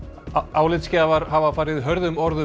álitsgjafar hafa farið hörðum orðum